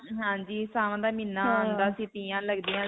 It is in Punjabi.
ਹਾਂਜੀ. ਸਾਉਣ ਦਾ ਮਹੀਨਾ ਆਉਂਦਾ ਸਿਗਾ ਲਗਦੀਆਂ ਸੀ.